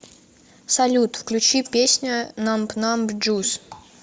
салют включи песня намб намб джус